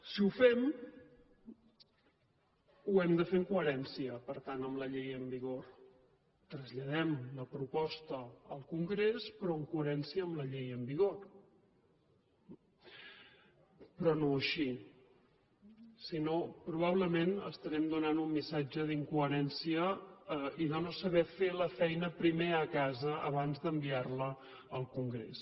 si ho fem ho hem de fer en coherència per tant amb la llei en vigor traslladem la proposta al congrés però amb coherència amb la llei en vigor però no així sinó probablement estarem donant un missatge d’incoherència i de no saber fer la feina primer a casa abans d’enviar la al congrés